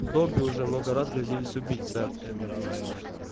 добби уже много раз грозились убить сэр